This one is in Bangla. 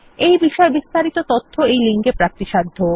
এই বিষয়ে বিস্তারিত তথ্য এই লিঙ্কে প্রাপ্তিসাধ্য